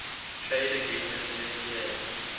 trade agreement fta